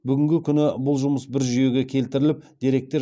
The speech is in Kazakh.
бүгінгі күні бұл жұмыс бір жүйеге келтіріліп